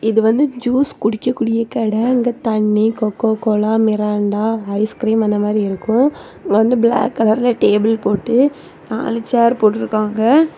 இது வந்து ஜூஸ் குடிக்க கூடிய கட இங்க தண்ணி கொக்கோகோலா மிராண்டா ஐஸ்கிரீம் அந்த மாதிரி இருக்கும் இங்க வந்து பிளாக் கலர்ல டேபிள் போட்டு நாலு சேர் போட்ருக்காங்க.